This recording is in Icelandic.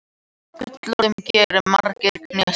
Fyrir gullguðum gerir margur knésig.